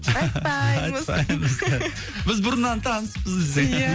айтпаймыз айтпаймыз біз бұрыннан таныспыз десең ия